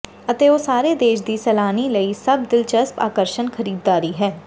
ਅਤੇ ਉਹ ਸਾਰੇ ਦੇਸ਼ ਦੀ ਸੈਲਾਨੀ ਲਈ ਸਭ ਦਿਲਚਸਪ ਆਕਰਸ਼ਣ ਖਰੀਦਦਾਰੀ ਹੈ